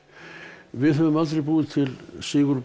við höfum aldrei búið til Sigurboga